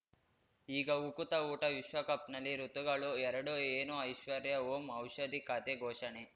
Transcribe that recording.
ಈಗ ಉಕುತ ಊಟ ವಿಶ್ವಕಪ್‌ನಲ್ಲಿ ಋತುಗಳು ಎರಡು ಏನು ಐಶ್ವರ್ಯಾ ಓಂ ಔಷಧಿ ಖಾತೆ ಘೋಷಣೆ